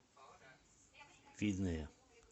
видное